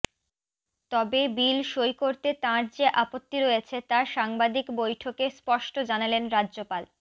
তবে বিল সই করতে তাঁর যে আপত্তি রয়েছে তা সাংবাদিক বৈঠকে স্পষ্ট জানালেন রাজ্যপাল